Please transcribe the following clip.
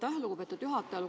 Aitäh, lugupeetud juhataja!